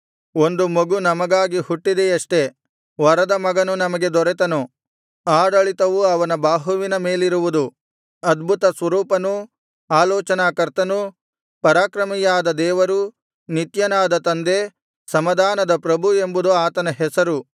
ಒಂದು ಮಗು ನಮಗಾಗಿ ಹುಟ್ಟಿದೆಯಷ್ಟೆ ವರದ ಮಗನು ನಮಗೆ ದೊರೆತನು ಆಡಳಿತವು ಅವನ ಬಾಹುವಿನ ಮೇಲಿರುವುದು ಅದ್ಭುತ ಸ್ವರೂಪನು ಆಲೋಚನಾ ಕರ್ತನು ಪರಾಕ್ರಮಿಯಾದ ದೇವರೂ ನಿತ್ಯನಾದ ತಂದೆ ಸಮಾಧಾನದ ಪ್ರಭು ಎಂಬುದು ಆತನ ಹೆಸರು